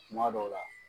Kuma dɔw la